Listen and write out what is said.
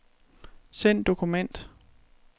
Send dokument.